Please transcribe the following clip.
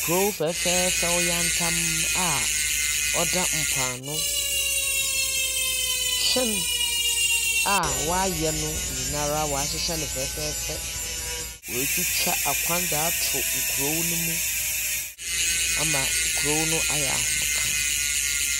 Kurow fɛɛfɛɛfɛw tantamm a ɔda mpoano. Hyɛn a wɔayɛ no nyinaa wɔahyehyɛ no fɛɛfɛɛfɛɛ. Wɔatwitwa akwan dze ato nkurow no mu ama kurow no ayɛ ahomeka.